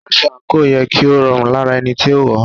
Aṣọ àǹkóò yẹ kí ó rọrùn lára ẹni tí ó wọ̀ọ́.